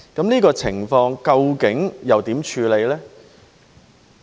這個情況究竟如何處理呢？